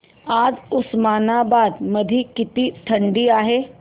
आज उस्मानाबाद मध्ये किती थंडी आहे